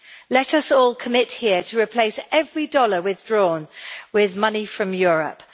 Let us all commit here to replace every dollar withdrawn with money from Europe.